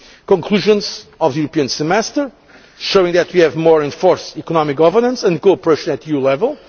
also agreed conclusions of the European Semester, showing that we have more enforced economic governance and co operation at an